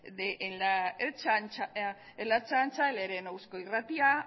de la ertzaintza el ere en eusko irratia